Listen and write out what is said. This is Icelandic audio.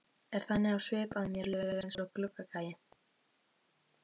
Er þannig á svip að mér líður eins og gluggagægi.